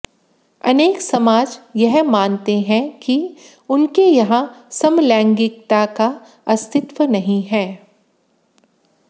अनेक समाज यह मानते हैं कि उनके यहाँ समलैंगिकता का अस्तित्व नहीं है